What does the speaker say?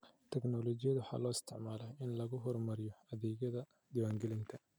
Tignoolajiyada waxaa loo isticmaalaa in lagu horumariyo adeegyada diiwaangelinta.